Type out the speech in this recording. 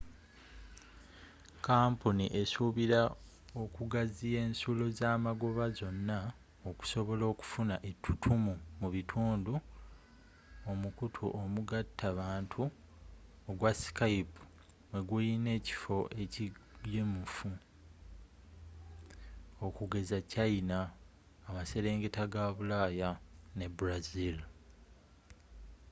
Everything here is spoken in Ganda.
kampuni esuubira okugaziya ensulo zamagoba zonna okusobola okufuna ettutumu mu bitundu omukutu omugatta bantu ogwa skype mweguyina ekifo ekigumivu okugeza china amaserengeta ga bulaaya ne brazil